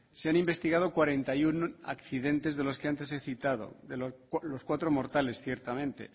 se han investigado cuarenta y uno accidentes de los que antes he citado de los cuatro mortales ciertamente